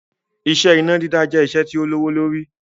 Iṣẹ́ iná dídá jẹ́ iṣẹ́ tí ó lówó lórí